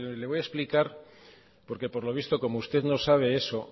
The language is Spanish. le voy a explicar porque por lo visto como usted no sabe eso